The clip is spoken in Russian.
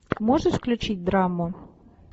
можешь включить драму